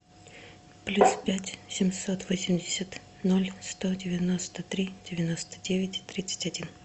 плюс пять семьсот восемьдесят ноль сто девяносто три девяносто девять тридцать один